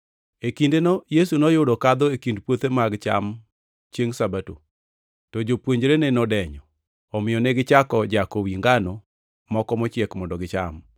E kindeno Yesu noyudo kadho e kind puothe mag cham chiengʼ Sabato. To jopuonjrene nodenyo, omiyo negichako jako wi ngano moko mochiek mondo gicham.